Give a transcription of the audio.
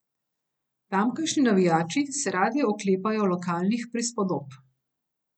Tamkajšnji navijači se radi oklepajo lokalnih prispodob.